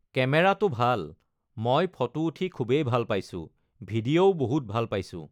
কেমেৰাটো ভাল মই ফটো উঠি খুবেই ভাল পাইছোঁ ভিডিঅ'ও বহুত ভাল পাইছোঁ